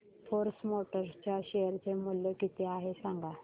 force Motors च्या share चे मूल्य किती आहे सांगा